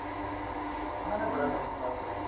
ਉਹਨਾ ਨੇ ਬੜਾ ਕੰਮ ਕਰਿਆ